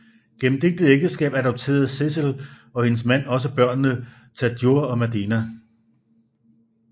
Gennem dette ægteskab adopterede Cecil og hendes mand også børnene Tadjure og Madena